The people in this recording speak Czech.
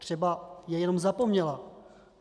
Třeba je jenom zapomněla.